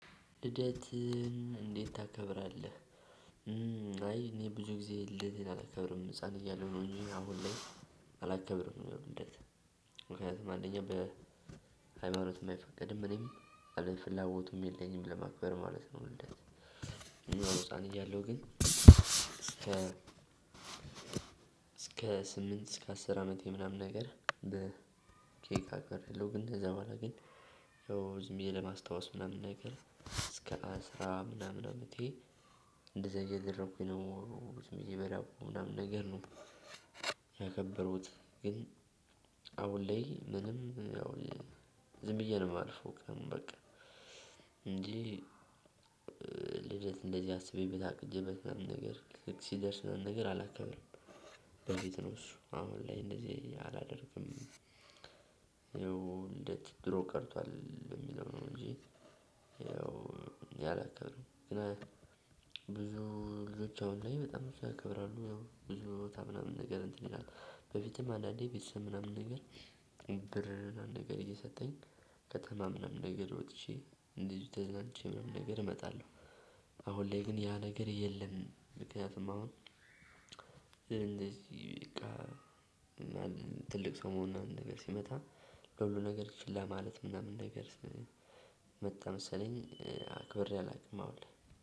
ልደትም እንዴት ታከብራለህ? አይ እኔ ብዙ ጊዜ ልደቴን አላከብርም ህፃን እያለሁ ነው እንጂ አሁን ላይ አላከብርም። ልደት ምክንያቱም አንደኛ በሃይማኖትም አይፈቀድም እኔም አለም ፍላጎቱም የለኝም ለማክበር ማለት ነው። ልደት እና ህፃን እያለሁ ግን እስከ እስከ ስምንት እስከ አስር አመቴ ምናምን ነገር በኬክ አክብሬያለሁ። ግን ከዛ በኋላ ግን ያው ዝም ብዬ ለማስታወስ ምናምን ነገር እስከ አስራ ምናምን አመቴ እንደዛ እያደረኩኝ ነው ዝም ብዬ በላኩ ምናምን ነገር ነው። ያከበሩት ግን አሁን ላይ ምንም ያው ዝም ብዬ ነው የማልፈው። በቃ እንጂ ልደት እንደዚህ አስቤበት አቅጄበት ምናምን ነገር ሲደርስ ምናምን ነገር አላከብርም። በቤት ነው እሱ አሁን ላይ እንደዚህ አላደርግም። ይኸው እንደ ድሮ ቀርቷል በሚለው ነው እንጂ ይኸው እኔ አላከብርም። ግን ብዙ ልጆት አሁን ላይ በጣም ያከብራሉ ያው ብዙ ቦታ ምናምን ነገር እንትን ይላል። በፊትም አንዳንዴ ቤተሰብ ምናምን ነገር ብር ምናምን ነገር እየሰጠኝ ከተማ ምናምን ነገር ወጥቼ እንደዚሁ ተዝናንቼ ምናምን ነገር እመጣለሁ። አሁን ላይ ግን ያ ነገር የለም። ምክንያቱም አሁን ትልቅ ሰው መሆን ምናምን ነገር ሲመጣ ለሁሉ ነገር ችላ ማለት ምናምን ነገር መጣ መሰለኝ አክብሬ አላውቅም። አሁን ላይ